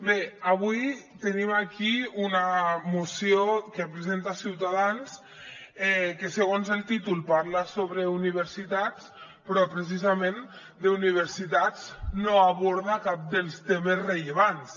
bé avui tenim aquí una moció que presenta ciutadans que segons el títol parla sobre universitats però precisament d’universitats no aborda cap dels temes rellevants